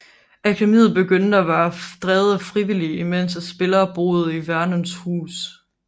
Akademiet begyndte med at være drevet af frivillige imens at spillerne boede i Vernons hus